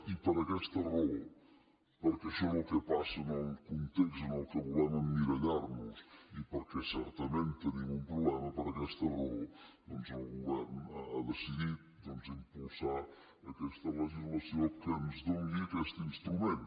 i per aquesta raó perquè això és el que passa en el context en què volem emmirallar nos i perquè certament tenim un problema per aquesta raó doncs el govern ha decidit impulsar aquesta legislació que ens doni aquest instrument